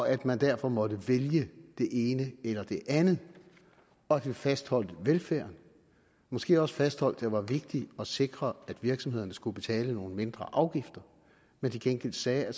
at man derfor måtte vælge det ene eller det andet og at vi fastholdt velfærden måske også fastholdt at det var vigtigt at sikre at virksomhederne skulle betale nogle mindre afgifter men til gengæld sagde at